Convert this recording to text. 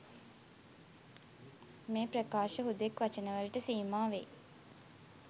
මේ ප්‍රකාශ හුදෙක් වචන වලට සීමා වෙයි